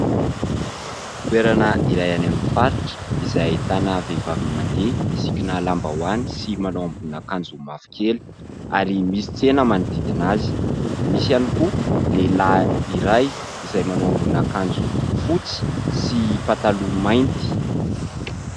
Toerana iray any amin'ny faritra izay ahitana vehivavy mandeha misikina lambahoany sy manao ambonin'akanjo mavokely ary misy tsena manodidina azy. Misy ihany koa lehilahy iray izay manao ambonin'akanjo fotsy sy pataloha mainty.